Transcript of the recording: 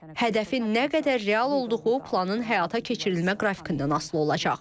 Hədəfin nə qədər real olduğu planın həyata keçirilmə qrafikindən asılı olacaq.